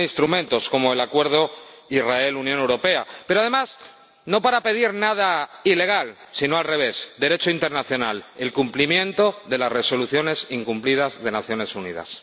Tiene instrumentos como el Acuerdo Israel Unión Europea, pero, además, no para pedir nada ilegal, si no al revés Derecho internacional, el cumplimiento de las Resoluciones incumplidas de las Naciones Unidas.